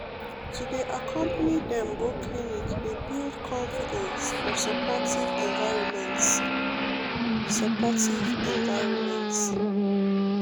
to dey accompany dem go clinic dey build confidence for supportive environments pause supportive environments pause